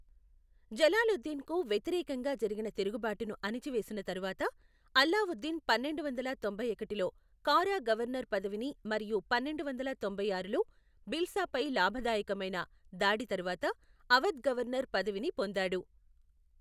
జలాలుద్దీన్కు వ్యతిరేకంగా జరిగిన తిరుగుబాటును అణచివేసిన తరువాత, అలావుద్దీన్ పన్నెండు వందల తొంభై ఒకటిలో కారా గవర్నర్ పదవిని మరియు పన్నెండు వందల తొంభై ఆరులో భిల్సాపై లాభదాయకమైన దాడి తర్వాత అవధ్ గవర్నర్ పదవిని పొందాడు.